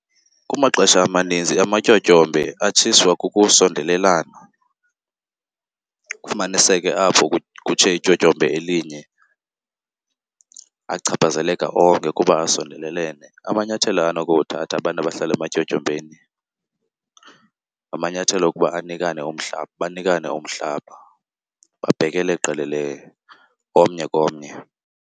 Kumaxesha amaninzi amatyotyombe atshiswa kukusondelelana. Kufumaniseke apho kutshe ityotyombe elinye achaphazeleka onke kuba asondelelene. Amanyathelo anokuwathatha abantu abahlala ematyotyombeni ngamanyathelo okuba anikane umhlaba, banikane umhlaba babhekele qelele omnye komnye.